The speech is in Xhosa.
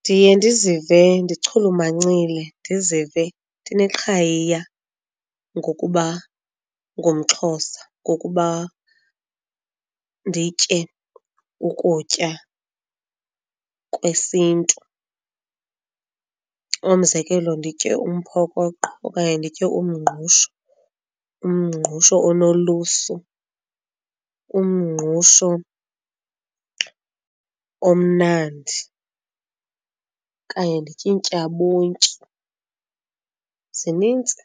Ndiye ndizive ndichulumancile, ndizive ndineqhayiya ngokuba ngumXhosa ngokuba nditye ukutya kwesintu. Umzekelo, nditye umphokoqo okanye nditye umngqusho, umngqusho onolusu, umngqusho omnandi okanye nditye intyabontyi. Zinintsi,